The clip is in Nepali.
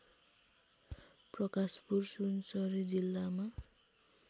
प्रकाशपुर सुनसरी जिल्लामा